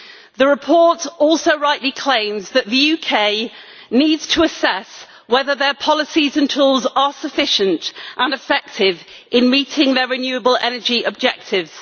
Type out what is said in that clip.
The report also rightly claims that the UK needs to assess whether their policies and tools are sufficient and effective in meeting their renewable energy objectives.